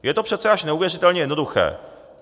Je to přece až neuvěřitelně jednoduché.